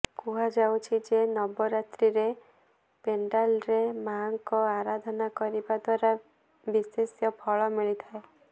କୁହାଯାଉଛି ଯେ ନବରାତ୍ରୀରେ ପେଣ୍ଡାଲରେ ମାଙ୍କ ଆରାଧନା କରିବା ଦ୍ୱାରା ବିଶେଷ୍ୟ ଫଳ ମିଳିଥାଏ